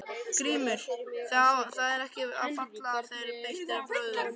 GRÍMUR: Það er ekki að falla þegar beitt er brögðum.